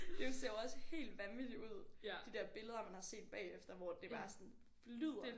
Det ser jo også helt vanvittigt ud de der billeder man har set bagefter hvor det bare sådan flyder